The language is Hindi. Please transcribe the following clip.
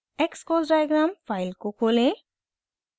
xcos डायग्राम फाइल को खोलें